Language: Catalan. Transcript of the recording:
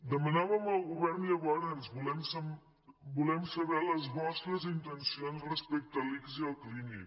demanàvem al govern llavors volem saber les vostres intencions respecte a l’ics i al clínic